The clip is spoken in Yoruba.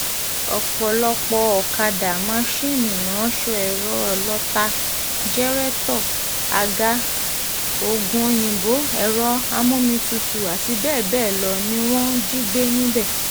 ọ̀pọ̀lọpọ̀ ọ̀kadà máńsinni ìránṣọ ẹ̀rọ ìlọ́ta jẹ̀rẹ̀tọ̀ àga oògùn-òyìnbó um ẹ̀rọ amómitutù àti bẹ́ẹ̀ bẹ́ẹ̀ lọ ni wọ́n um jí gbé níbẹ̀